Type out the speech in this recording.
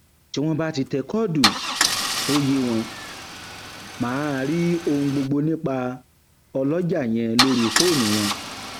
tí wọn um bá ti tẹ kọọdù tó yé wọn um máa rí ohun gbogbo nípa ọlọjà yẹn lórí fóònù wọn